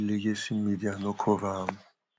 legacy media no cover am